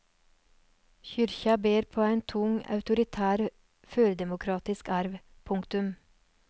Kyrkja ber på ein tung autoritær førdemokratisk arv. punktum